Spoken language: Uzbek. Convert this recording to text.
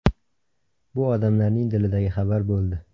Bu odamlarning dilidagi xabar bo‘ldi.